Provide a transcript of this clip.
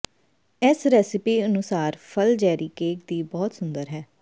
ਇਸ ਰੈਸਿਪੀ ਅਨੁਸਾਰ ਫਲ ਜੈਰੀ ਕੇਕ ਵੀ ਬਹੁਤ ਸੁੰਦਰ ਹੈ